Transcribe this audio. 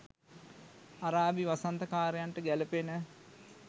අරාබි වසන්ත කාරයන්ට ගැලපෙන